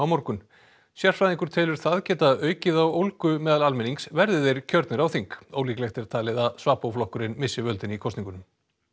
morgun sérfræðingur telur það geta aukið á ólgu meðal almennings verði þeir kjörnir á þing ólíklegt er talið að flokkurinn missi völdin í kosningunum